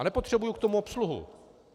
A nepotřebuji k tomu obsluhu.